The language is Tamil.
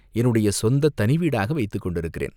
என்னுடைய சொந்தத் தனி வீடாக வைத்துக் கொண்டிருக்கிறேன்.